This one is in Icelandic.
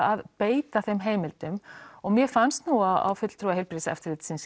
að beita þeim heimildum og mér fannst nú á fulltrúa heilbrigðiseftirlitsins